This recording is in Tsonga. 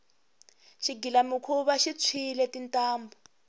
xigilamikhuva xi tshwile tintambhu